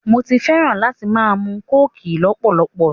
Mo fẹ́ràn láti máa mu kóòkì lọ́pọ̀lọpọ̀